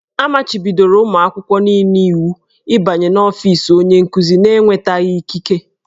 A machibidoro ụmụ akwụkwọ niile iwu ịbanye n'ọfiisi onye nkuzi n'enwetaghị ikike.